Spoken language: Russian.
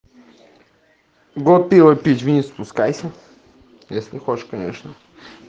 го пиво пить вниз спускайся если хочешь конечно